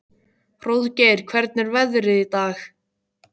Hróðgeir, hvernig er veðrið í dag?